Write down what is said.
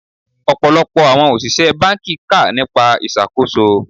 Ọ̀pọ̀lọpọ̀ àwọn òṣìṣẹ́ báńkì kà nípa ìṣàkóso.